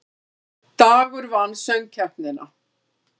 Dagur vann Söngkeppnina